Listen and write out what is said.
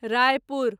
Raipur